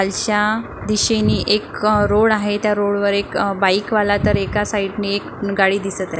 खालच्या दिशेनी एक रोड आहे त्या रोडवर एक बाईक वाला तर एका साईड ने एक गाडी दिसतय.